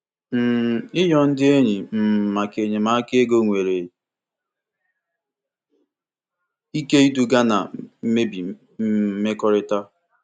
um Ịrịọ ndị enyi um maka enyemaka ego nwere ike iduga na mmebi um mmekọrịta.